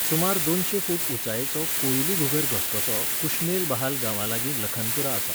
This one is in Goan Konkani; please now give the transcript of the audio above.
सुमार दोनशें फूट उंचायेचो कोइलीघुगर घसघसो कुश्मेलबहाल गांवालागीं लखनपुरा आसा.